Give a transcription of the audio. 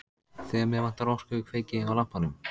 Þegar mig vantar orku kveiki ég á lampanum.